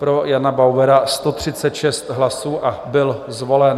Pro Jana Bauera 136 hlasů a byl zvolen.